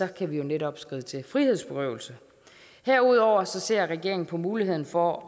kan vi jo netop skride til frihedsberøvelse herudover ser regeringen på muligheden for